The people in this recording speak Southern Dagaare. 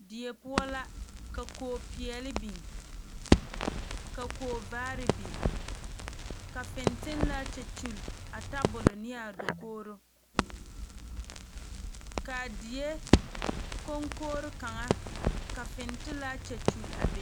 Die poɔ la ka kono peɛle biŋ ka kono vaare biŋ ka fentelaa kyɛ kyuli a tabolɔ ne a dakogro kaa die kɔŋkogri kaŋa ka fentelaa kyɛnyuli a be